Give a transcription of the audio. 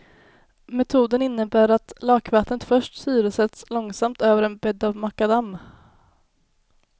Metoden innebär att lakvattnet först syresätts långsamt över en bädd av makadam.